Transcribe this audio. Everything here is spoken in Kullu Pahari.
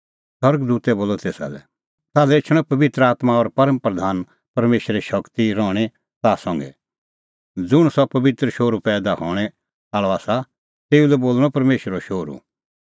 स्वर्ग दूतै बोलअ तेसा लै ताल्है एछणअ पबित्र आत्मां और परम प्रधान परमेशरे शगती रहणीं ताह संघै ज़ुंण सह पबित्र शोहरू पैईदा हणैं आल़अ आसा तेऊ लै बोल़णअ परमेशरो शोहरू